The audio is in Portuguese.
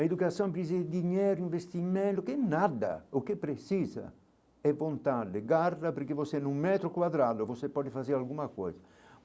A educação precisa de dinheiro, investimento, que nada, o que precisa é pontar, porque você é num metro quadrado, você pode fazer alguma coisa.